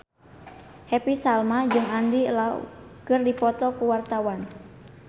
Happy Salma jeung Andy Lau keur dipoto ku wartawan